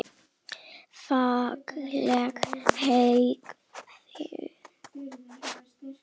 Fagleg hegðun.